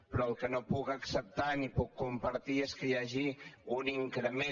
però el que no puc acceptar ni puc compartir és que hi hagi un increment